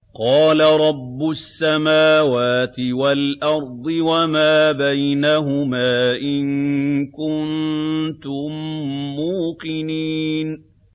قَالَ رَبُّ السَّمَاوَاتِ وَالْأَرْضِ وَمَا بَيْنَهُمَا ۖ إِن كُنتُم مُّوقِنِينَ